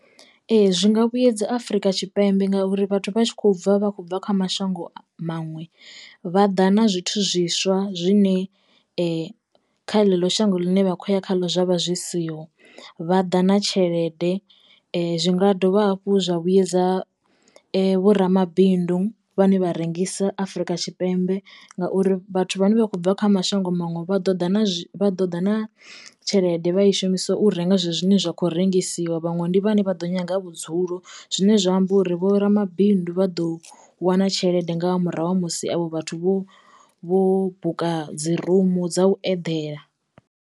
Ee zwi nga vhuedza Afrika Tshipembe ngauri vhathu vha tshi kho bva vha khou bva kha mashango maṅwe vha ḓa na zwithu zwiswa zwine kha ḽeḽo shango ḽine vha khou ya kha ḽo zwavha zwi siho vha ḓa na tshelede. Zwi nga dovha hafhu zwa vhuedza vho ramabindu vhane vha rengisa Afrika Tshipembe ngauri vhathu vhane vha khou bva kha mashango maṅwe vha ḓo ḓa vha ḓo ḓa na tshelede vha i shumisa u renga zwezwi zwine zwa kho rengisiwa dzhiwa vhaṅwe ndi vhane vha ḓo nyaga vhudzulo zwine zwa amba uri vho ramabindu vha ḓo wana tshelede nga murahu ha musi avho vhathu vho vho buka dzi rumu dza u eḓela.